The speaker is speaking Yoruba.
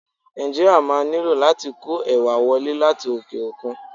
Nàìjíríà máa nílò láti kó ẹ̀wà wọlé láti òkè-òkun.